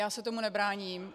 Já se tomu nebráním.